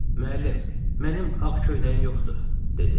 Müəllim, mənim ağ köynəyim yoxdur, dedi.